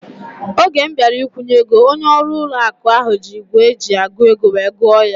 Oge m bịara ikwunye ego, onye ọrụ ụlọ akụ ahu ji ígwè eji agụ ego wee gụọ ya